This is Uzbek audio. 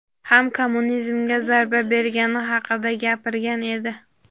ham kommunizmga zarba bergani haqida gapirgan edi.